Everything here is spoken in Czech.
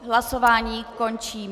Hlasování končím.